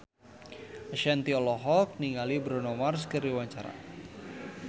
Ashanti olohok ningali Bruno Mars keur diwawancara